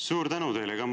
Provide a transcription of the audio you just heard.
Suur tänu teile!